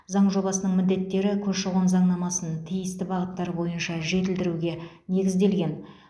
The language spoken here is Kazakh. заң жобасының міндеттері көші қон заңнамасын тиісті бағыттар бойынша жетілдіруге негізделген